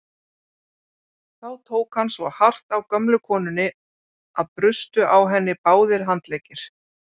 Þá tók hann svo hart á gömlu konunni að brustu á henni báðir handleggir.